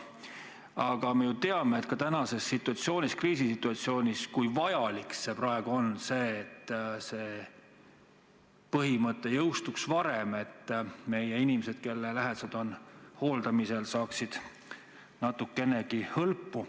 Aga me ju teame, et ka tänases kriisisituatsioonis on väga vajalik, et see muudatus jõustuks varem, et inimesed, kelle lähedased on hooldamisel, saaksid natukenegi hõlpu.